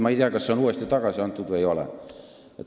Ma ei tea, kas see on uuesti tagasi antud või ei ole.